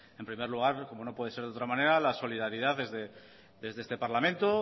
en primer lugar como no puede ser de otra manera la solidaridad desde este parlamento